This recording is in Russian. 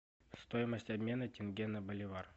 стоимость обмена тенге на боливар